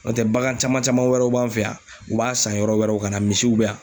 N'o tɛ bagan caman caman wɛrɛw b'an fɛ yan u b'a san yɔrɔ wɛrɛw ka na misiw bɛ yan.